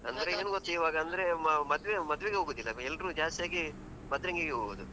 ಅಂದ್ರೆ ಮದುವೆ ಮದುವೆಗೆ ಹೋಗೋದಿಲ್ಲ ಎಲ್ಲರೂ ಜಾಸ್ತಿಯಾಗಿ ಮದ್ರೆನ್ಗಿಗೆ ಹೋಗುದು.